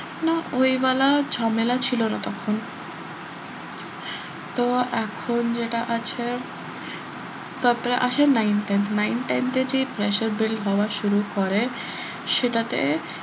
ওই ওয়ালা ঝামেলা ছিল না তখন তো এখন যেটা আছে তারপরে আসে nine ten nine ten এ যে pressure build হওয়া শুরু করে সেটাতে বাচ্চারা,